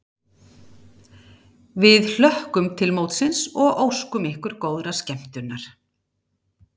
Við hlökkum til mótsins og óskum ykkur góðrar skemmtunar!